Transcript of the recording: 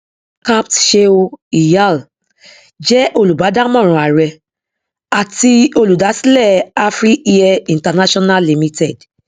capt sheu iyal jẹ olùbádámọràn àrẹ àti olùdásílẹ afriair international limited